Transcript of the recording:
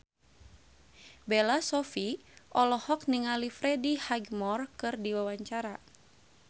Bella Shofie olohok ningali Freddie Highmore keur diwawancara